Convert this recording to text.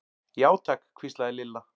Já, takk hvíslaði Lilla.